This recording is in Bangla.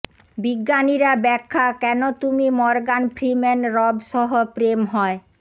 বিজ্ঞানীরা ব্যাখ্যা কেন তুমি মর্গান ফ্রিম্যান রব সহ প্রেম হয়